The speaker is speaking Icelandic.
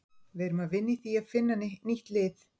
Við erum að vinna í því að finna nýtt lið.